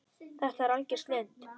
Þetta er algjör snilld.